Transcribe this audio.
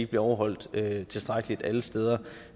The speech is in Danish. bliver overholdt tilstrækkeligt alle steder